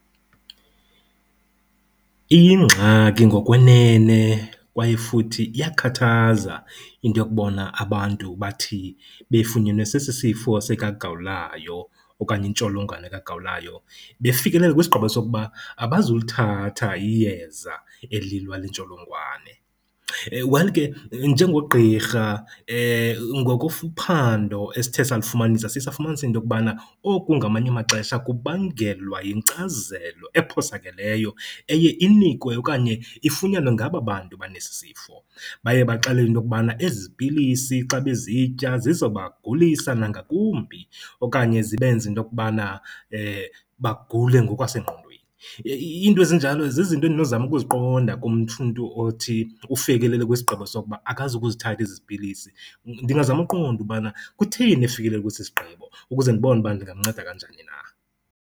Iyingxaki ngokwenene kwaye futhi iyakhathaza into yokubona abantu bathi befunyenwe sesi sifo sikagawulayo okanye intsholongwane kagawulayo befikelele kwisigqibo sokuba abazulithatha iyeza elilwa le ntsholongwane. Well ke njengogqirha ngokophando esithe salifumanisa siye safumanisa into yokubana oku ngamanye amaxesha kubangelwa yinkcazelo ephosakeleyo eye inikwe okanye ifunyanwe ngaba bantu banesisifo. Baye baxelelwe into yokubana ezi pilisi xa bezitya zizobagulisa nangakumbi okanye zibenze into yokubana bagule ngokwasengqondweni. Iinto ezinjalo zizinto endinozama ukuziqonda kumntu othi ufikelele kwisigqibo sokuba akazukuzithatha ezi pilisi. Ndingazama ukuqonda ukubana kutheni efikelele kwesi sigqibo ukuze ndibone uba ndingamnceda kanjani na.